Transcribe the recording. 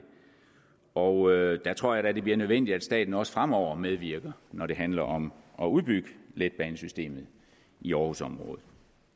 og der tror jeg da det bliver nødvendigt at staten også fremover medvirker når det handler om at udbygge letbanesystemet i aarhusområdet